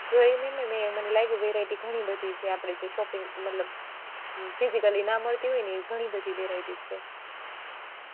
જોયું ને મેં મને લાય્ગુ variety ઘણી બધી છે. આપણે જે shopping મતલબ physically ના મળતી હોય ને એવી ઘણી બધી varietys છે.